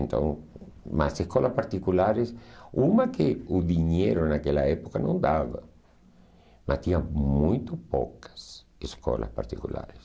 Então, as escolas particulares, uma que o dinheiro naquela época não dava, mas tinha muito poucas escolas particulares.